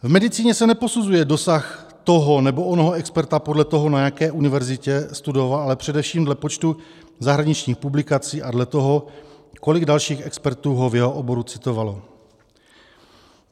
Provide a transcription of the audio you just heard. V medicíně se neposuzuje dosah toho nebo onoho experta podle toho, na jaké univerzitě studoval, ale především dle počtu zahraničních publikací a dle toho, kolik dalších expertů ho v jeho oboru citovalo.